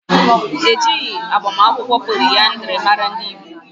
Ejighi agbamakwụkwọ poliandiri mara ndị Igbo.